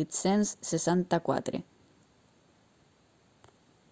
864